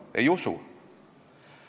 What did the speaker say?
Ja meie arvame, et kõik on parimas korras.